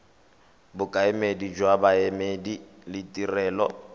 bokaedi jwa boemedi le ditirelo